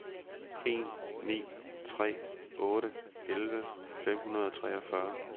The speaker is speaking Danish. en ni tre otte elleve fem hundrede og treogfyrre